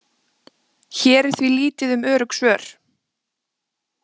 Hér er því lítið um örugg svör.